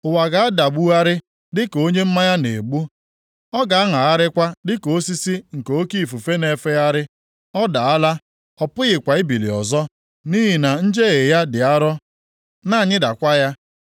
Ụwa ga-adagbugharị dịka onye mmanya na-egbu. Ọ ga-aṅagharịkwa dịka osisi nke oke ifufe na-efegharị. Ọ daala, ọ pụghịkwa ibili ọzọ, nʼihi na njehie ya dị arọ na-anyịdakwa ya.